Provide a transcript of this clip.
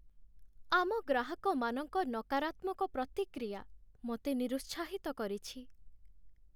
ଆମ ଗ୍ରାହକମାନଙ୍କ ନକାରାତ୍ମକ ପ୍ରତିକ୍ରିୟା ମୋତେ ନିରୁତ୍ସାହିତ କରିଛି।